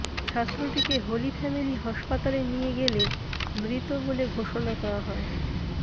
ছাত্রটিকে Holy Family হাসপাতালে নিয়ে গেলে মৃত বলে ঘোষণা করা হয়